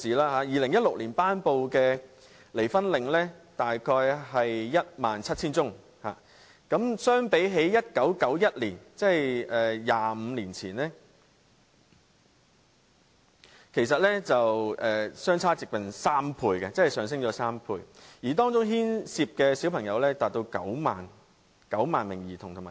在2016年，法庭頒布離婚令的個案數目約為 17,000 宗，相比1991年，即25年前，上升了差不多兩倍，而當中牽涉的兒童和青少年達到9萬名。